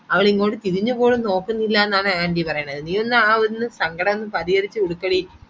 അവരിങ്ങോട്ടുതിരിഞ്ഞുപോലുംനോക്കുന്നില്ലെന്നാണ് ആ anuty പറയണത് നീയൊന്നു ആ ഒന്ന് സങ്കടം പരിഹരിച്ചുകൊടുക്കടി